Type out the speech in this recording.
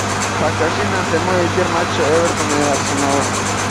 покажи нам прямой эфир матча эвертона и арсенала